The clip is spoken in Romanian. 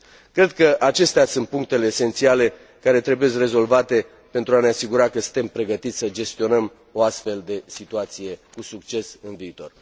Cred că acestea sunt punctele esențiale care trebuiesc rezolvate pentru a ne asigura că suntem pregătiți să gestionăm o astfel de situație cu succes în viitor.